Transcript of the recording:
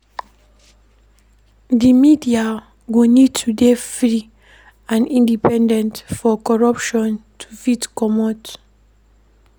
Di media go need to dey free and independent for corruption to fit comot